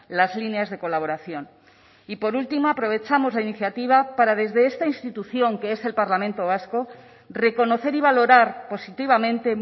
las líneas de colaboración y por último aprovechamos la iniciativa para desde esta institución que es el parlamento vasco reconocer y valorar positivamente